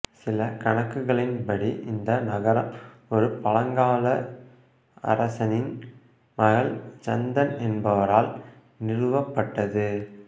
சில கணக்குகளின்படி இந்த நகரம் ஒரு பழங்கால அரசனின் மகள் சந்தன் என்பவரால் நிறுவப்பட்டது